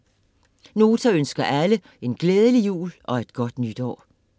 Nota ønsker alle en glædelig jul og et godt nytår.